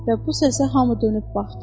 Və bu səsə hamı dönüb baxdı.